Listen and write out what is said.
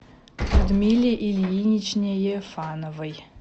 людмиле ильиничне ефановой